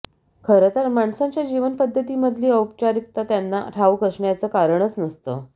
खरं तर माणसांच्या जीवन पद्धतीमधली औपचारिकता त्यांना ठाऊक असण्याचं कारणच नसतं